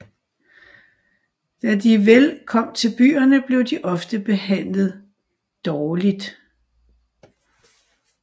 Da de vel kom til byerne blev de ofte behandlet dårligt